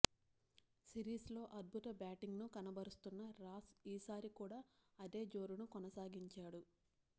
సిరీస్లో అద్భుత బ్యాటింగ్ను కనబరుస్తున్న రాస్ ఈసారి కూడా అదే జోరును కొనసాగించాడు